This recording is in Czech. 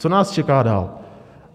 Co nás čeká dál?